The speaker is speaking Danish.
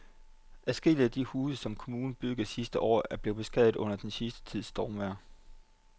Adskillige af de huse, som kommunen byggede sidste år, er blevet beskadiget under den sidste tids stormvejr.